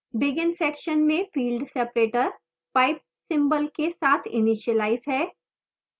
begin section में field separator pipe symbol के साथ इनिशीलाइज है